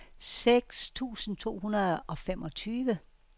seks tusind to hundrede og femogtyve